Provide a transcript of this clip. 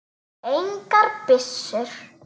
Engar byssur.